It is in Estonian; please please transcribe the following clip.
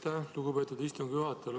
Aitäh, lugupeetud istungi juhataja!